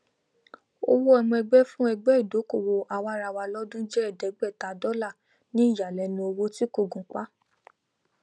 owó ọmọ ẹgbẹ fún ẹgbẹ ìdókòwò àwaraawa lọdún jẹ ẹẹdẹgbẹta dọ́là ní ìyàlẹnu owó tí kò gunpá